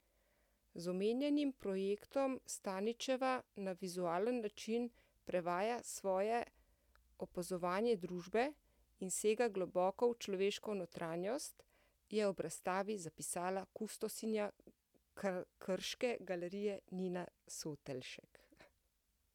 Z omenjenim projektom Stančičeva na vizualen način prevaja svoje opazovanje družbe in sega globoko v človeško notranjost, je ob razstavi zapisala kustosinja krške galerije Nina Sotelšek.